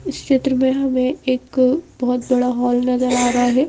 इस क्षेत्र में हमें एक बहुत बड़ा हॉल नजर आ रहा है।